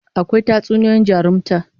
Akwai Tatsuniyoyin jarumta